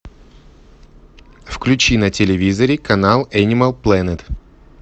включи на телевизоре канал энимал пленет